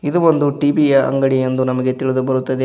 ಇದು ಒಂದು ಟಿ_ವಿ ಯ ಅಂಗಡಿ ಎಂದು ನಮಗೆ ತಿಳಿದು ಬರುತ್ತದೆ.